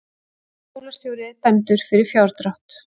Skólastjóri dæmdur fyrir fjárdrátt